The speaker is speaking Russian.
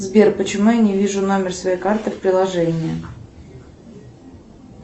сбер почему я не вижу номер своей карты в приложении